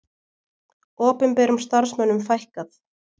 Opinberum starfsmönnum fækkað